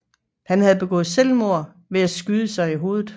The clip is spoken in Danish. Han havde begået selvmord ved at skyde sig selv i hovedet